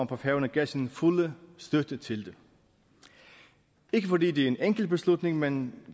på færøerne gav sin fulde støtte til det ikke fordi det er en enkel beslutning men